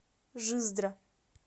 жиздра